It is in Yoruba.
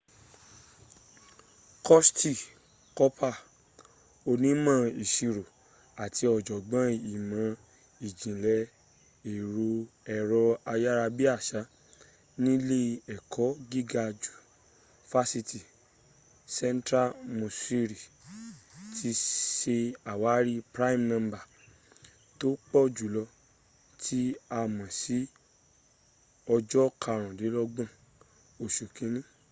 curtis cooper onímọ̀ ìsirò àti ọ̀jọ̀gbọ́n ìmọ̀ ìjìnlẹ̀ ẹ̀rọ ayárabíàṣà nílé ẹ̀kọ́ gíga fásitì central missouri ti se àwárí prime number tó pọ̀ jùlọ tí a mọ̀ ní ọjọ́ karùndínlọ́gbọ̀n osù kínni